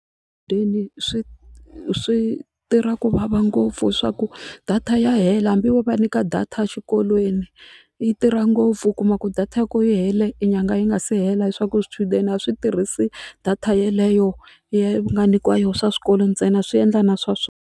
swi swi tirha ku vava ngopfu swa ku data ya hela hambi wo va nyika data exikolweni yi tirha ngopfu u kuma ku data ya koho yi hele nyangha yi nga se hela leswaku swichudeni a swi tirhisi data yeleyo yi nga nyikiwa yona swa swikolo ntsena swi endla na swa swona.